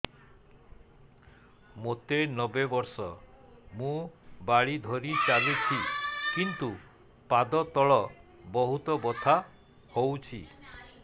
ମୋତେ ନବେ ବର୍ଷ ମୁ ବାଡ଼ି ଧରି ଚାଲୁଚି କିନ୍ତୁ ପାଦ ତଳ ବହୁତ ବଥା ହଉଛି